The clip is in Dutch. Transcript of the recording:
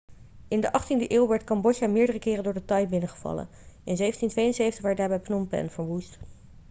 in de 18e eeuw werd cambodja meerdere keren door de thai binnengevallen in 1772 werd daarbij phnom phen verwoest